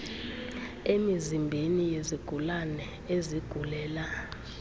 emizimbeni yezigulane ezigulela